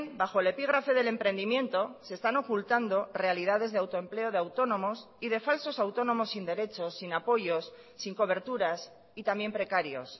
bajo el epígrafe del emprendimiento se están ocultando realidades de autoempleo de autónomos y de falsos autónomos sin derechos sin apoyos sin coberturas y también precarios